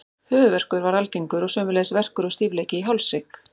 Höfuðverkur var algengur og sömuleiðis verkur og stífleiki í hálshrygg.